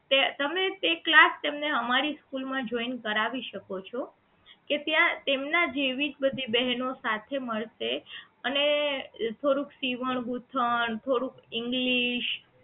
તે તમે તે class તેમને અમારી સ્કૂલ માં joint કરાવી શકો છો કે ત્યાં તેમના જેવી જ બધી બહેનો સાથે મળશે અને થોડુંક સીવણ ગુથણ અને થોડુંક english